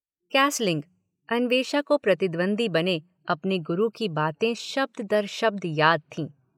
Castling Anvesha को प्रतिद्वंद्वी बने अपने गुरु की बातें शब्द–दर–शब्द याद थीं।